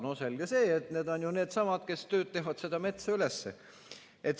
No selge see, et need on ju needsamad, kes töötavad seda metsa üles.